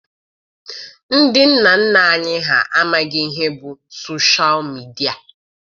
Ndị nna nna anyị ha amaghị ihe bụ soshal midia.